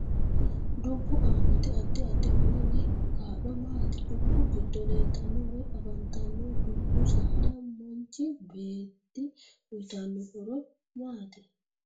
Dubbu aanoti addi addi horo woy kaa'lo maati dubbu giddo leeltanno woy afantaano dubbu saad manchi beete uyiitano horo maati